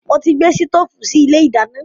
Mo ti gbé sítoòfù sì ilé ìdáná.